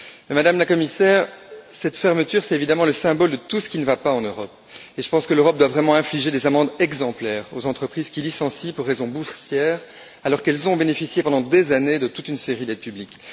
Madame la Commissaire, cette fermeture, c'est évidemment le symbole de tout ce qui ne va pas en Europe. Je pense que l'Europe doit vraiment infliger des amendes exemplaires aux entreprises qui licencient pour raisons boursières, alors qu'elles ont bénéficié pendant des années de toute une série d'aides publiques.